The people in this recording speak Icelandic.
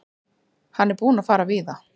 Hann er búinn að fara víða.